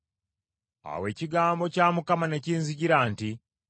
Awo ekigambo kya Mukama ne kinzijira nti,